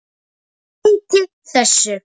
Breyti þessu.